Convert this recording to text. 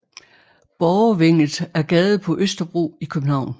Borgervænget er gade på Østerbro i København